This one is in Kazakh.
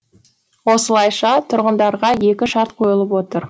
осылайша тұрғындарға екі шарт қойылып отыр